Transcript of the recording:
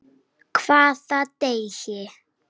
Hvaða degi?